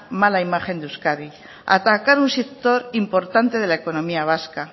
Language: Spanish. mala imagen de euskadi a atacar a un sector importante de la economía vasca